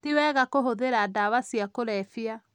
Ti wega kûhûthîra dawa cia kũrevya